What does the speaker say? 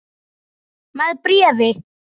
Með bréfi.